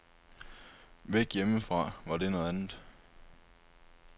Væk hjemmefra var det noget andet.